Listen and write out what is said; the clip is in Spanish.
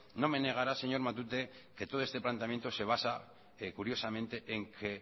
no me negará señor matute que todo este planteamiento se basa curiosamente en que